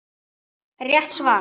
Rétt svar!